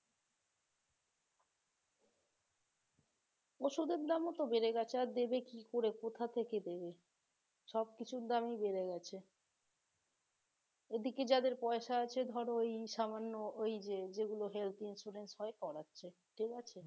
ওষুধের দামও তো বেড়ে গেছে আর দেবে কি করে? কোথা থেকে দেবে? সবকিছুর দামি বেড়ে গেছে এদিকে যাদের পয়সা আছে ধর ওই সামান্য ওইযে health insurance হয় করাচ্ছে ঠিক আছে